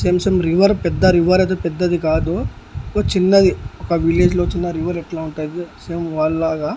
Same same river పెద్ద river అయితే పెద్దది కాదు ఒక చిన్నది ఒక విలేజ్లో చిన్న రివర్ ఎట్లా ఉంటదో సేమ్ వాల్లాగా.